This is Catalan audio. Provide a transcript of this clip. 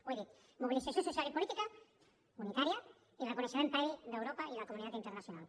ho he dit mobilització social i política unitària i reconeixement previ d’europa i de la comunitat internacional